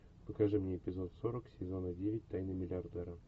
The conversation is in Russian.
покажи мне эпизод сорок сезона девять тайны миллиардера